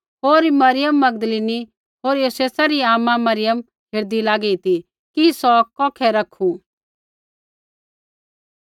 होर Mariam Magdalene होर योसेसा री आमा मरियम हेरदी लागी ती कि सौ कौखै रैखू